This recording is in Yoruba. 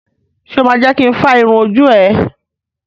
Ṣo ma jẹ́ kin fá irun ojú ẹ?